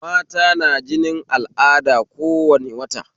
Mata na jinin al'ada kowane wata